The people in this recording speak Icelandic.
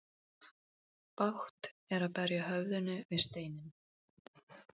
Bágt er að berja höfðinu við steinninn.